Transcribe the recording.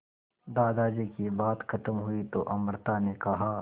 दादाजी की बात खत्म हुई तो अमृता ने कहा